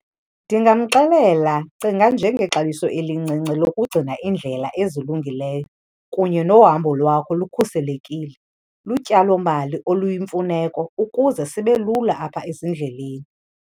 Ndingamxelela, cinga nje ngexabiso elincinci lokugcina iindlela ezilungileyo kunye nohambo lwakho lukhuselekile. Lutyalomali oluyimfuneko ukuze sibe lula apha ezindleleni.